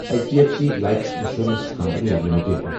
each D F C life insurance company limited